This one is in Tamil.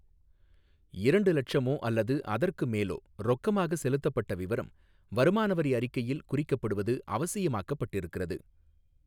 இரண்டு இலட்சமோ அல்லது அதற்கு மேலோ ரொக்கமாக செலுத்தப்பட்ட விவரம் வருமானவரி அறிக்கையில் குறிக்கப்படுவது அவசியமாக்கப்பட்டிருக்கிறது.